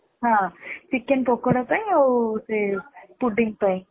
ହଁ chicken ପକୋଡା ପାଇଁ ଆଉ ସେ pudding ପାଇଁ